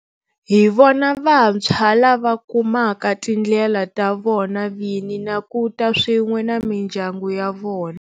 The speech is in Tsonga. Hi vona vantshwa lava kumaka tindlela ta vona vini na ku ta swin'we na mindyangu ya vona.